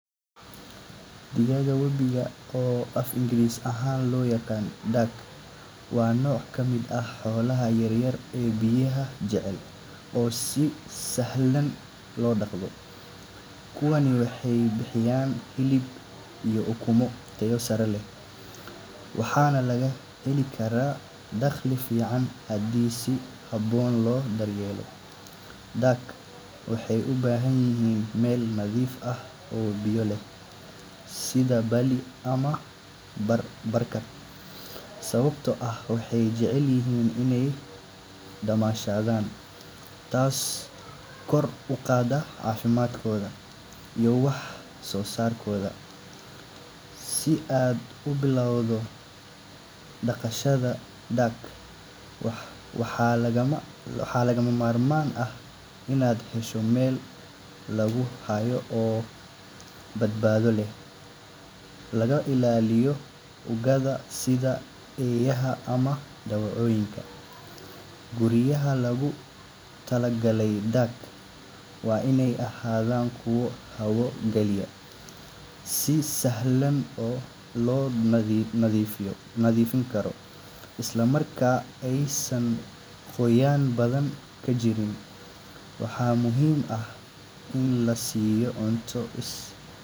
Digaagga webiga, oo af-Ingiriisi ahaan loo yaqaan duck, waa nooc ka mid ah xoolaha yaryar ee biyaha jecel oo si sahlan loo dhaqdo. Kuwaani waxay bixiyaan hilib iyo ukumo tayo sare leh, waxaana laga heli karaa dakhli fiican haddii si habboon loo daryeelo. Duck waxay u baahan yihiin meel nadiif ah oo biyo leh sida balli ama barkad, sababtoo ah waxay jecel yihiin inay dabaashaan, taasoo kor u qaadda caafimaadkooda iyo wax soo saarkooda. Si aad u bilowdo dhaqashada duck, waxaa lagama maarmaan ah inaad hesho meel lagu hayo oo badbaado leh, laga ilaaliyo ugaadha sida eeyaha ama dawacooyinka. Guryaha loogu talagalay duck waa inay ahaadaan kuwo hawada galiya, si sahlan loo nadiifin karo, islamarkaana aysan qoyaan badani ka jirin. Waxaa muhiim ah in la siiyo cunto.